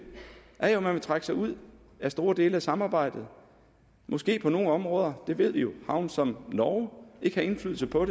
er jo at man vil trække sig ud af store dele af samarbejdet og måske på nogle områder det ved vi jo havne som norge og ikke have indflydelse på